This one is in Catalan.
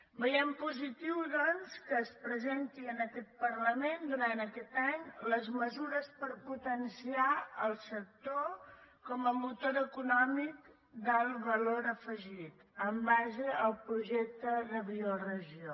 veiem positiu doncs que es presentin en aquest parlament durant aquest any les mesures per potenciar el sector com a motor econòmic d’alt valor afegit en base al projecte de bioregió